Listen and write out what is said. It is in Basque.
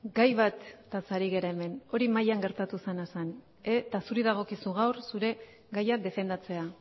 gai bataz ari gara hemen hori mahian gertatu zena zen eta zuri dagokizu gaur zure gaia defendatzea